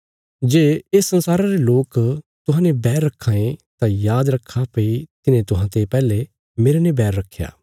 जे ये संसार रे लोक तुहांजो बैर रखां ये तां याद रखा भई तिन्हें तुहांते पैहले मेरने बैर रखया